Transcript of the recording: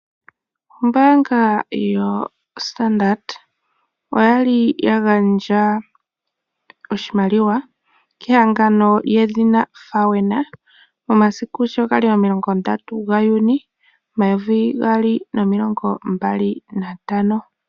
Ombaanga yoStandard oya li ya gandja oshimaliwa kehangano lyedhina FAWENA, momasiku sho kwali omilongo ndatu gaJuni omumvo omayovi gaali nomilongo mbali nantano.